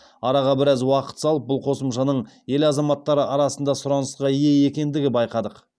араға біраз уақыт салып бұл қосымшаның ел азаматтары арасында сұранысқа ие екендігін байқадық